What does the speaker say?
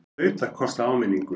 Hlaut að kosta áminningu!